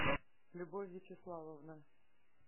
любовь вячеславовна